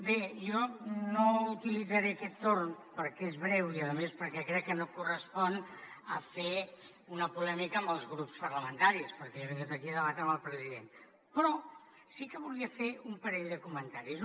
bé jo no utilitzaré aquest torn perquè és breu i a més perquè crec que no em correspon a fer una polèmica amb els grups parlamentaris perquè jo he vingut aquí a debatre amb el president però sí que volia fer un parell de comentaris